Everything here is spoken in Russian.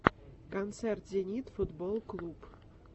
концерт зенит футболл клуб